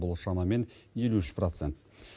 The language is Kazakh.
бұл шамамен елу үш процент